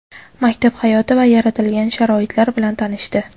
maktab hayoti va yaratilgan sharoitlar bilan tanishdi.